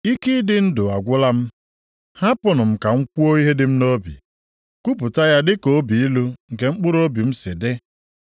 “Ike ịdị ndụ agwụla m. Hapụnụ m ka m kwuo ihe dị m nʼobi, kwupụta ya dịka obi ilu nke mkpụrụobi m si dị.